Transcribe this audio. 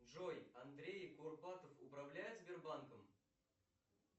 джой андрей курпатов управляет сбербанком